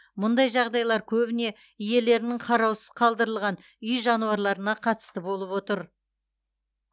мұндай жағдайлар көбіне иелерінің қараусыз қалдырылған үй жануарларына қатысты болып отыр